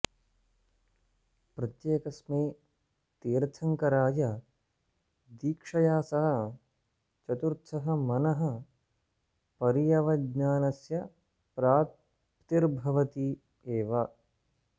प्रत्येकस्मै तीर्थङ्कराय दीक्षया सह चतुर्थः मनःपर्यवज्ञानस्य प्राप्तिर्भवति एव